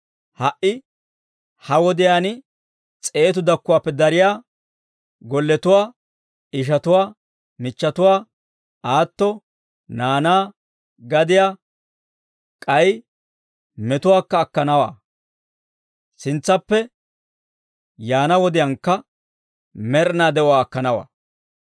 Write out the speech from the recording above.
ha"i ha wodiyaan s'eetu dakkuwaappe dariyaa golletuwaa, ishatuwaa, michchatuwaa, aatto, naanaa, gadiyaa, k'ay metuwaakka akkanawaa. Sintsappe yaana wodiyaankka med'inaa de'uwaa akkanawaa.